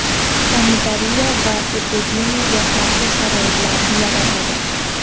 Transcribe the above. sanitariya va epidemiyaga qarshi sharoitlarni yaratadi.